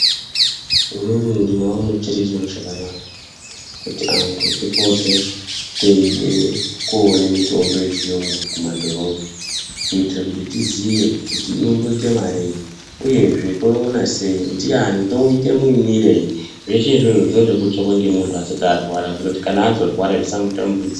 Inini ndinoona chiro chakanaka kuti antu tipote teide koone mitombo yechiyungu kumadhorobha kuitire kuti tiziye kuti inomboite marii uyezve toiona sei, ndiani , toite muimwirei. Zveshe izvozvozvo zvinode kutsvakwa ngemunhu asati arwara kuitira kuti kana azorwara zvisamutambudza.